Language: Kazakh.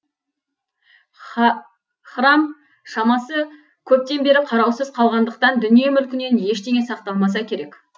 храм шамасы көптен бері қараусыз қалғандықтан дүние мүлкінен ештеңе сақталмаса керек